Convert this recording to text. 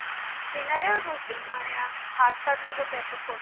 dinner এও রুটি মানে আমি ভাতটাতগুলো prefer করি না